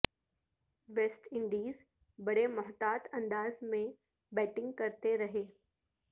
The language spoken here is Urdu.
ویسٹ انڈیز بڑے محتاط انداز میں بیٹنگ کرتے رہے